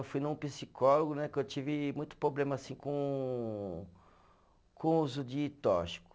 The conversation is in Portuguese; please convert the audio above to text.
Eu fui num psicólogo né, que eu tive muito problema assim com, com o uso de tóxico.